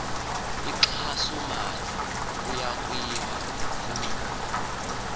inkxasomali yokwakhiwa kwezindlu